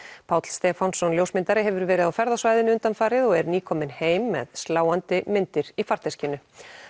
Páll Stefánsson ljósmyndari hefur verið á ferð á svæðinu undanfarið og er nýkominn heim með sláandi myndir í farteskinu